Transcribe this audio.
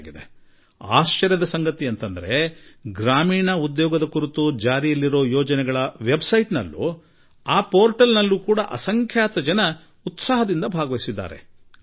ನನ್ನ ಪಾಲಿಗೆ ಅತಿ ದೊಡ್ಡ ಆಶ್ಚರ್ಯದ ಸಂಗತಿ ಎಂದರೆ ಭಾರತ ಸರ್ಕಾರ ಜಾರಿಗೆ ತಂದಿರುವ ಗ್ರಾಮೀಣ ಉದ್ಯೋಗ ಖಾತರಿ ಯೋಜನೆಗೆ ಸಂಬಂಧಿಸಿದ ವೆಬ್ ತಾಣ ಏನಿದೆ ಅದರಲ್ಲಿ ಅತ್ಯಧಿಕ ಸಂಖ್ಯೆಯಲ್ಲಿ ಜನರು ತಾಮುಂದು ನಾಮುಂದು ಎಂದು ಪಾಲ್ಗೊಂಡಿರುವುದು